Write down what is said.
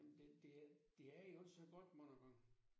Jamen det det det er jo ikke så godt mange gange